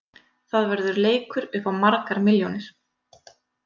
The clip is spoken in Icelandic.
Það verður leikur upp á margar milljónir.